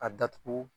A datugu